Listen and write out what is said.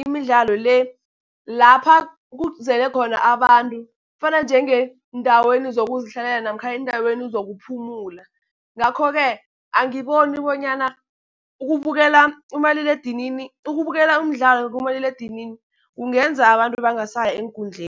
imidlalo le, lapha kuzele khona abantu, fana njenge eendaweni zokuzihlalela namkha eendaweni zokuphumula. Ngakho-ke angiboni bonyana ukubukela umdlalo kumaliledinini kungenza abantu bangasayi eenkundleni.